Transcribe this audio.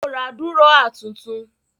Ó ra dúrọ́à tuntun?